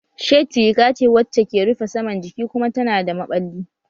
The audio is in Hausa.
Shirt riga ce wacce ke rufe saman jiki kuma tana da maɓalli